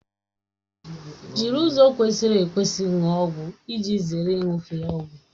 Jiri ụzọ kwesịrị ekwesị ṅụọ ọgwụ iji zere iṅufe ọgwụ